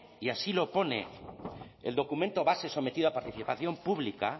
y así lo pone el documento base sometido a participación pública